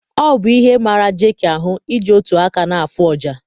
Ọ bụ ihe mara Jeki ahụ iji otu aka na afụ ọjà